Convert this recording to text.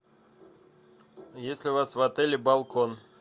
есть ли у вас в отеле балкон